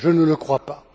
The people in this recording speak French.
Je ne le crois pas.